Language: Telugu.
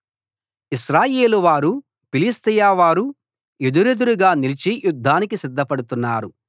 ఇశ్రాయేలువారు ఫిలిష్తీయవారు ఎదురెదురుగా నిలిచి యుద్ధానికి సిద్ధపడుతున్నారు